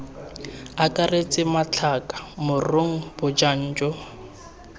akaretse matlhaka moroko bojang jo